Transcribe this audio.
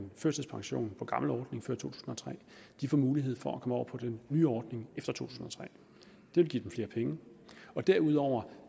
førtidspension på gammel ordning to tusind og tre får mulighed for at komme over på den nye ordning det vil give dem flere penge derudover